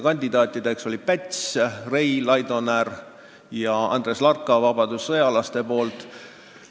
Kandidaatideks olid Päts, Rei, Laidoner ja Larka vabadussõjalaste poolt.